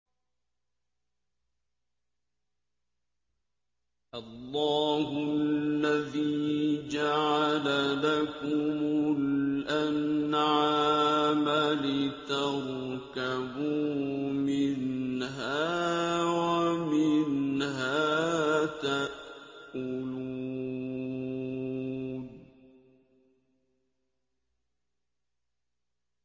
اللَّهُ الَّذِي جَعَلَ لَكُمُ الْأَنْعَامَ لِتَرْكَبُوا مِنْهَا وَمِنْهَا تَأْكُلُونَ